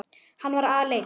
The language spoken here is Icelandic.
Hann var aleinn.